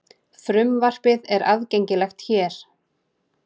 Frumvarpið er aðgengilegt hér